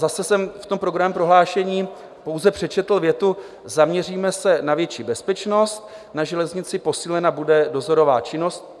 Zase jsem v tom programovém prohlášení pouze přečetl větu: "Zaměříme se na větší bezpečnost na železnici, posílena bude dozorová činnost."